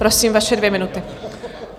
Prosím, vaše dvě minuty.